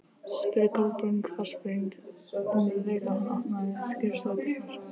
spurði Kolbrún hvassbrýnd um leið og hann opnaði skrifstofudyrnar.